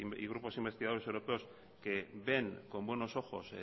y grupos investigadores europeos que ven con buenos ojos